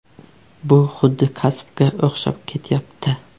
Bu xuddi kasbga o‘xshab ketyapti.